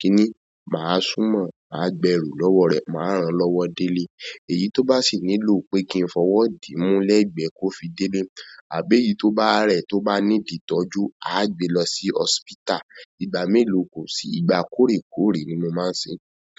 kíni, máa súnmọ́ máa gba ẹrù lọ́wọ́ rẹ̀ máa ràn lọ́wọ́ délé. Èyí tó bá sì nílò pé kí n fọwọ́ dí mú lẹ́gbẹ́ kó fi délé, àbí èyí tó bá rẹ̀ tó bá need ìtọ́jú, a á gbé lọ sí hospital. Ìgbà mélòó kò sí, ìgbà kórèkórè ni mo máa ń ṣe.